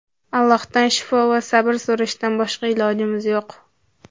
Allohdan shifo va sabr so‘rashdan boshqa ilojimiz yo‘q.